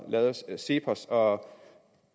lavet af cepos og